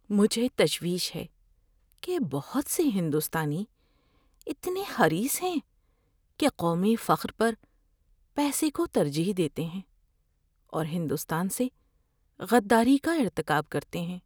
مجھے تشویش ہے کہ بہت سے ہندوستانی اتنے حریص ہیں کہ قومی فخر پر پیسے کو ترجیح دیتے ہیں اور ہندوستان سے غداری کا ارتکاب کرتے ہیں۔